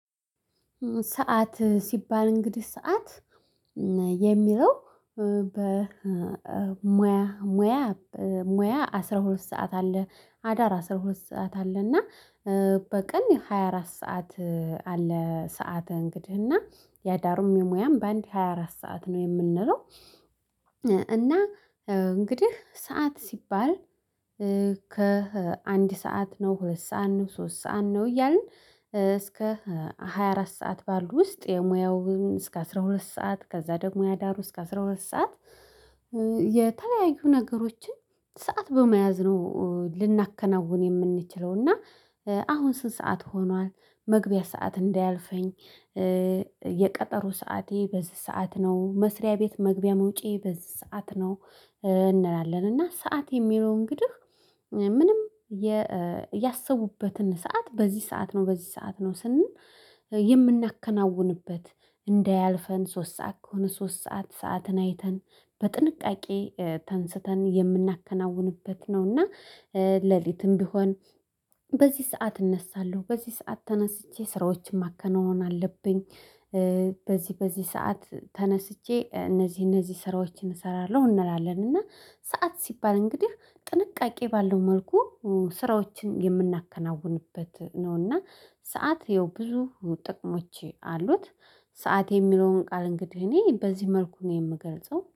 ሰዓት ሲባል እንግዲህ ሰዓት የሚለው በሙያ ሙያ ሙያ አስራ ሁለት ሰዓት አለ። አዳር አስራ ሁለት ሰዓት አለ እና በቀን ሃያ አራት ሰዓት አለ። ሰዓት እንግዲህ እና ያዳሩም የሙያም በአንድ ሃያ አራት ሰዓት ነው የምንለው። እና እንግዲህ ሰዓት ሲባል ከአንድ ሰዓት ነው ሁለት ሰዓት ነው ሶስት ሰዓት ነው እያልን እስከ ሃያ አራት ሰዓት ባሉ ውስጥ የሙያውን እስከ አስራ ሁለት ሰዓት ከዛ ደግሞ ያዳሩ እስከ አስራ ሁለት ሰዓት። የተለያዩ ነገሮችን ሰዓት በመያዝ ነው ልናከናውን የምንችለው እና። አሁን ስንት? ሰዓት ሆኗል መግቢያ ሰዓት እንዳያልፈኝ። የቀጠሮ ሰዓቴ በዚህ ሰዓት ነው መስሪያ ቤት መግቢያ መውጪያዬ በዚህ ሰዓት ነው። እንላለን እና ሰዓት የሚለው እንግዲህ። ምንም ያሰቡበትን ሰዓት በዚህ ሰዓት ነው በዚህ ሰዓት ነው ስንል የምናከናውንበት እንዳያልፈን ሶስት ሰዓት ከሆነ ሶስት ሰዓት ሰዓትን አይተን በጥንቃቄ ተንስተን የምናከናውንበት ነው። እና ለሊትም ቢሆን በዚህ ሰዓት እነሳለሁ በዚህ ሰዓት ተነስቼ ስራዎችን ማከናወን አለብኝ። በዚህ በዚህ ሰዓት ተነስቼ እነዚህ እነዚህ ስራዎችን እሰራለሁ እንላለን። እና ሰዓት ሲባል እንግዲህ ጥንቃቄ ባለው መልኩ ስራዎችን የምናከናውንበት ነውና ሰዓት ይኸው ብዙ ጥቅሞች አሉት። ሰዓት የሚለውን ቃል እንግዲህ እኔ በዚህ መልኩ ነው የምገልጸው